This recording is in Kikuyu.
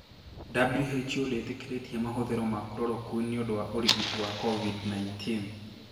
"WHO ndiitĩkĩrĩtie mahũthiro ma chloroquine niũndũ wa ũrigiti wa #COVID19."